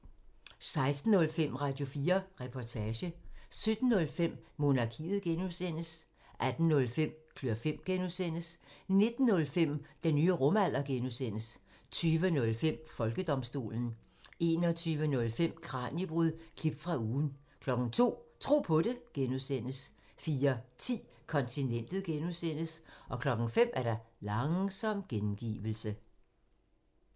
16:05: Radio4 Reportage 17:05: Monarkiet (G) 18:05: Klør fem (G) 19:05: Den nye rumalder (G) 20:05: Folkedomstolen 21:05: Kraniebrud – klip fra ugen 02:00: Tro på det (G) 04:10: Kontinentet (G) 05:00: Langsom gengivelse